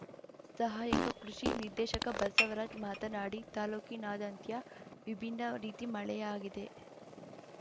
ಸಹಾಯಕ ಕೃಷಿ ನಿರ್ದೇಶಕ ಬಸವರಾಜ್‌ ಮಾತನಾಡಿ ತಾಲೂಕಿನಾದಂತ್ಯ ವಿಭಿನ್ನ ರೀತಿ ಮಳೆಯಾಗಿದೆ